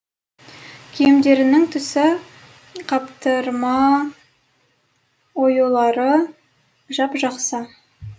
киімдерінің түсі қаптырма оюлары жап жақсы